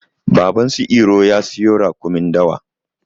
Baban su iro ya siyo raƙumin dawa.